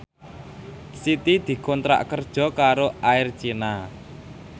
Siti dikontrak kerja karo Air China